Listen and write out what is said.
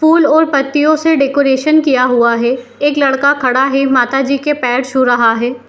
Full और पत्तियों से डेकोरेशन किया हुआ है एक लड़का खड़ा है माता जी के पैर छू रहा है।